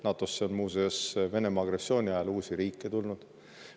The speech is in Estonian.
NATO‑sse on, muuseas, Venemaa agressiooni ajal uusi riike tulnud.